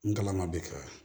N kalan ma bɛ ka